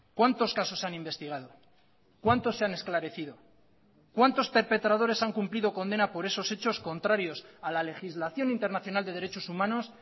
cuántos casos han investigado cuántos se han esclarecido cuántos perpetradores han cumplido condena por esos hechos contrarios a la legislación internacional de derechos humanos